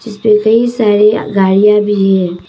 जिसपे कई सारी गाड़ियां भी है।